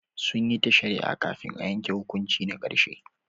Sun yi ta shari'a kafin a yanke hukunci na karshe.